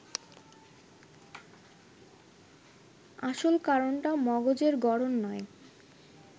আসল কারণটা মগজের গড়ন নয়